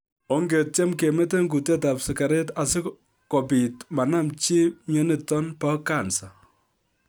Ongetyen kemeten kutet ab sigaret asikobit manamchi myonitok bo kansa